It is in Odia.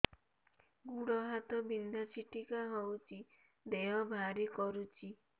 ଗୁଡ଼ ହାତ ବିନ୍ଧା ଛିଟିକା ହଉଚି ଦେହ ଭାରି କରୁଚି